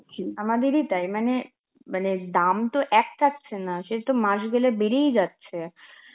আমাদেরই তাই মানে~ মানে দাম তো এক থাকছে না, সে তো মাস গেলে বেরিয়ে যাচ্ছে